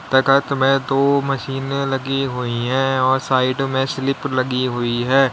प्रकार का बया तू मशीनें लगी हुई हैं और साइड में स्विच लगी हुई हैं।